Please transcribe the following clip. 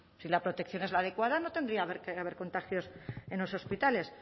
si la protección es la adecuada no tendría que haber contagios en los hospitales